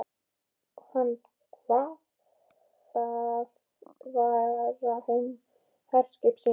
Hann kvað það vera herskip sín.